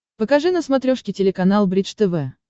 покажи на смотрешке телеканал бридж тв